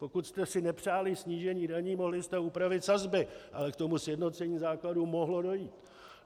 Pokud jste si nepřáli snížení daní, mohli jste upravit sazby, ale k tomu sjednocení základu mohlo dojít.